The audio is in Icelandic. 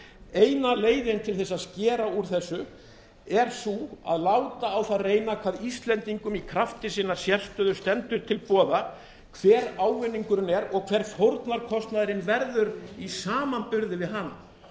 eina leiðin til að skera úr þessu er sú að láta á það reyna hvað íslendingum í krafti sinnar sérstöðu stendur til boða hver ávinningurinn er og hver fórnarkostnaðurinn verður í samanburði við hann